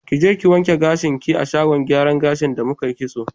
Kije ki wanke gashin ki a shagon gyaran gashin da mukai kitso